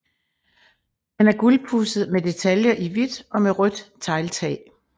Den er gulpudset med detaljer i hvidt og med rødt tegltag